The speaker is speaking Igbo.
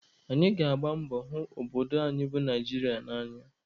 Anyị ga-agba mbọ hụ obodo anyị bụ Naijiria n'anya